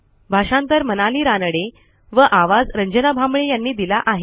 भाषांतर मनाली रानडे व आवाज रंजना भांबळे यांनी दिला आहे